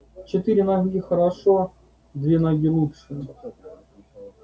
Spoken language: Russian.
четыре ноги хорошо две ноги лучше